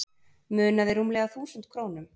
Munaði rúmlega þúsund krónum